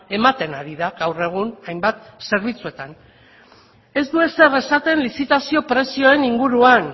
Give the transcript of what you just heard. ematen ari da gaur egun hainbat zerbitzuetan ez du ezer esaten lizitazio prezioen inguruan